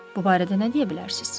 Bu barədə nə deyə bilərsiniz?